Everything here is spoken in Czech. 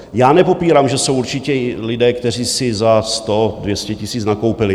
Já nepopírám, že jsou určitě lidé, kteří si za 100 - 200 tisíc nakoupili.